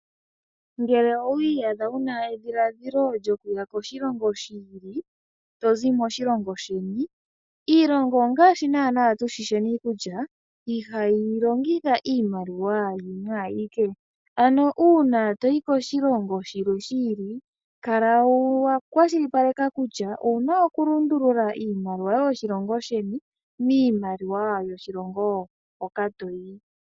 Ngele owi iyadha wu na edhiladhilo lyokuya koshilongo shi ili to zi moshilongo sheni, iilonga ongaashi naanaa tu shii sheni kutya ihayi longitha iimaliwa yimwe ayike. Ano uuna to yi koshilongo shilwe shi ili kala wa kwashilipaleka kutya owu na okulundulula iimaliwa yoshilongo sheni miimaliwa yoshilokngo hoka to yi.